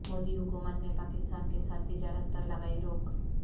مودی حکومت نے پاکستان کے ساتھ تجارت پر لگائی روک